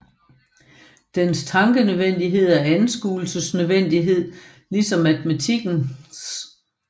Dens Tankenødvendighed er Anskuelsesnødvendighed ligesom Matematikkens